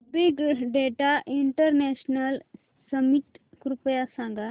big data international summit कृपया सांगा